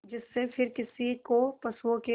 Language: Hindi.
जिससे फिर किसी को पशुओं के